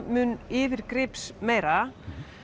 mun yfirgripsmeira